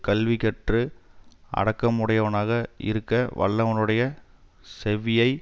கல்வி கற்று அடக்கமுடையவனாக இருக்க வல்லவனுடைய செவ்வியை